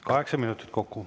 Kaheksa minutit kokku.